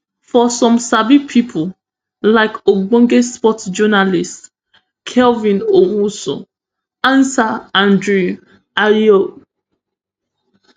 for some sabi pipo like ogbonge sports journalist kelvin owusu ansah andre ayew